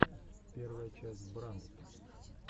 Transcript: первая часть брандт